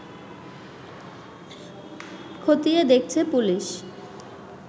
খতিয়ে দেখছে পুলিশ